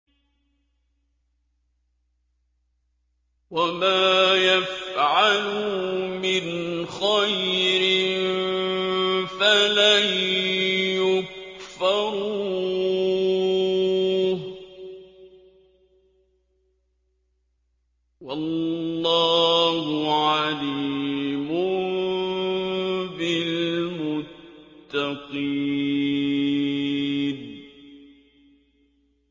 وَمَا يَفْعَلُوا مِنْ خَيْرٍ فَلَن يُكْفَرُوهُ ۗ وَاللَّهُ عَلِيمٌ بِالْمُتَّقِينَ